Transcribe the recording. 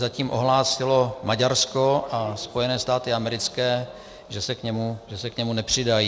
Zatím ohlásilo Maďarsko a Spojené státy americké, že se k němu nepřidají.